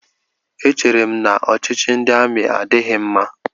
Echeere m na ọchịchị ndị amị adịghị mma.